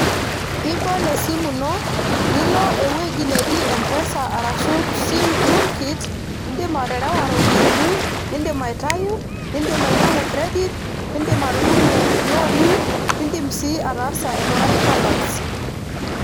Ibol esimu ino nilo ewueji neji mpesa arashu sim toolkit indim aterewa iropiyiani ,indim aitayu ,indim ainyangu credit ,indim atudumu ilooni ,nindim sii ataasa aingurai balance.